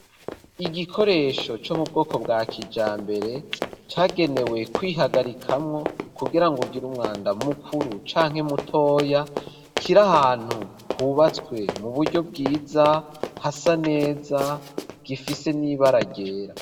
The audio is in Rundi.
Igikoresho co mu bwoko bwa kijambere cagenewe kwihagarikamwo kugirango ugire umwanda mukuru canke mutoya kiri ahantu hubatswe mu buryo bwiza hasa neza gifise n'ibara ryera